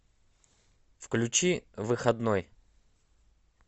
включи выходной